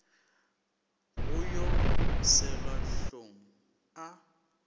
go yo selwa hlong a